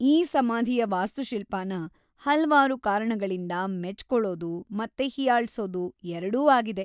ಈ ಸಮಾಧಿಯ ವಾಸ್ತುಶಿಲ್ಪನ ಹಲ್ವಾರು ಕಾರಣಗಳಿಂದ ಮೆಚ್ಕೊಳೋದು ಮತ್ತೆ ಹೀಯಾಳ್ಸೋದು ಎರಡೂ ಆಗಿದೆ.